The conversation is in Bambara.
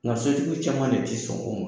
Nga so tigi caman de ti sɔn o ma .